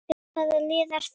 Hvaða lið er það?